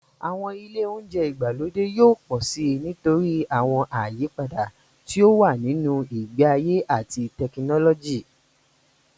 Àwọn ilé oúnjẹ ìgbàlódé yóò pọ̀ síi nítorí àwọn àyípadà tí ó wà nínú ìgbé ayé àti tẹkinọ́lọ́jì.m